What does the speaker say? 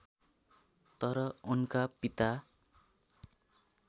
तर उनका पिता